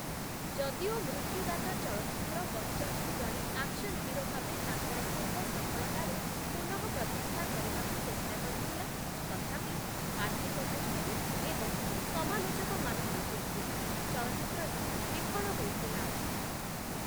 ଯଦିଓ 'ମୃତ୍ୟୁଦାତା' ଚଳଚ୍ଚିତ୍ର ବଚନ୍‌ଙ୍କୁ ଜଣେ ଆକ୍ସନ୍‌ ହିରୋ ଭାବେ ତାଙ୍କର ପୂର୍ବ ସଫଳତାରେ ପୁନଃପ୍ରତିଷ୍ଠା କରିବାକୁ ଚେଷ୍ଟା କରିଥିଲା ତଥାପି ଆର୍ଥିକ ଦୃଷ୍ଟିରୁ ଏବଂ ସମାଲୋଚକମାନଙ୍କ ଦୃଷ୍ଟିରୁ ଚଳଚ୍ଚିତ୍ରଟି ବିଫଳ ହୋଇଥିଲା ।